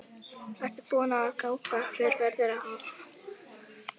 Ertu búinn að ákveða hver verður aðalmarkvörður?